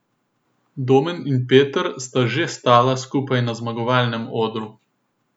Domen in Peter sta že stala skupaj na zmagovalnem odru.